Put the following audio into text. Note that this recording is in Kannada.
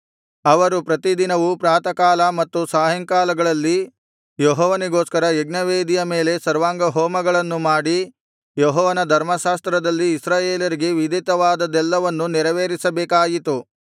ಅವರು ಪ್ರತಿದಿನವೂ ಪ್ರಾತಃಕಾಲ ಮತ್ತು ಸಾಯಂಕಾಲಗಳಲ್ಲಿ ಯೆಹೋವನಿಗೋಸ್ಕರ ಯಜ್ಞವೇದಿಯ ಮೇಲೆ ಸರ್ವಾಂಗಹೋಮಗಳನ್ನು ಮಾಡಿ ಯೆಹೋವನ ಧರ್ಮಶಾಸ್ತ್ರದಲ್ಲಿ ಇಸ್ರಾಯೇಲರಿಗೆ ವಿಧಿತವಾದದ್ದೆಲ್ಲವನ್ನೂ ನೆರವೇರಿಸಬೇಕಾಯಿತು